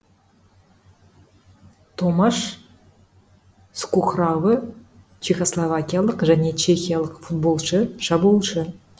томаш скухравы чехословакиялық және чехиялық футболшы шабуылшы